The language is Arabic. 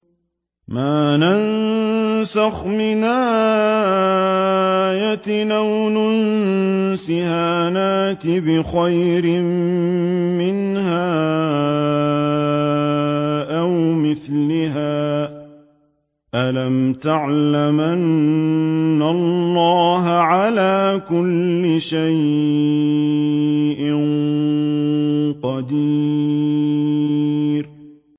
۞ مَا نَنسَخْ مِنْ آيَةٍ أَوْ نُنسِهَا نَأْتِ بِخَيْرٍ مِّنْهَا أَوْ مِثْلِهَا ۗ أَلَمْ تَعْلَمْ أَنَّ اللَّهَ عَلَىٰ كُلِّ شَيْءٍ قَدِيرٌ